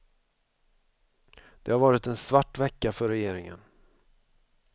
Det har varit en svart vecka för regeringen.